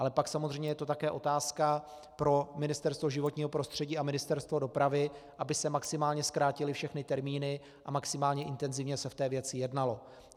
Ale pak samozřejmě je to také otázka pro Ministerstvo životního prostředí a Ministerstvo dopravy, aby se maximálně zkrátily všechny termíny a maximálně intenzivně se v té věci jednalo.